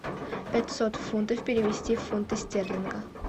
пятьсот фунтов перевести в фунты стерлинга